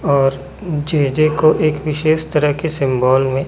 और J J को एक विशेष तरह के सिंबॉल में--